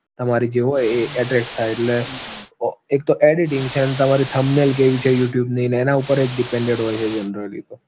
તમારી જે હોય એ attract થાય એટલે એક તો editing છે ને તમારી thumbnail કેવી છે youtube ની ને એના ઉપર જ depended હોય છે generally તો